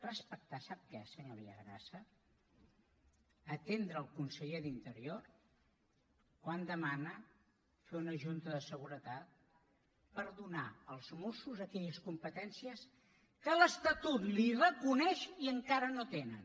respectar sap què senyor villagrasa atendre el conseller d’interior quan demana fer una junta de seguretat per donar als mossos aquelles competències que l’estatut els reconeix i encara no tenen